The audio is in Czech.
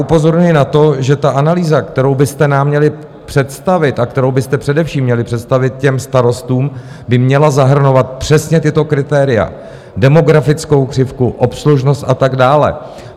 Upozorňuji na to, že ta analýza, kterou byste nám měli představit a kterou byste především měli představit těm starostům, by měla zahrnovat přesně tato kritéria: demografickou křivku, obslužnost a tak dále.